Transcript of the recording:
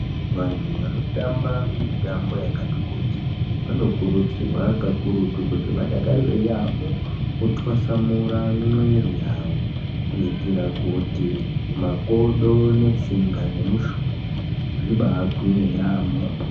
Vantu vanotamba mitambo yakati kuti, vanokurudzirwa kakurutu, kuti vadakarire yaamho, kutwasamura mwiri yawo, kuitira kuti makodo, netsinga, nemushuna, zvibaagwinye yaamho.